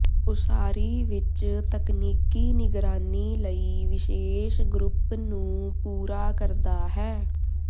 ਉਸਾਰੀ ਵਿੱਚ ਤਕਨੀਕੀ ਨਿਗਰਾਨੀ ਲਈ ਵਿਸ਼ੇਸ਼ ਗਰੁੱਪ ਨੂੰ ਪੂਰਾ ਕਰਦਾ ਹੈ